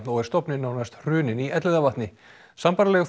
og er stofninn nánast hruninn í Elliðavatni sambærilegir